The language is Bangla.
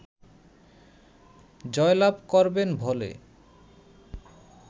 জয়লাভ করবেন বলে